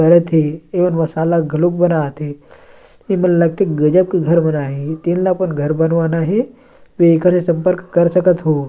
करत हे एमन मसाला घलोक बनात एमन लगथे गजब के घर बना हे तेन ल अपन घर बनवाना हे एकर से संपर्क कर सकत हो--